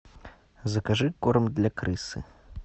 закажи корм для крысы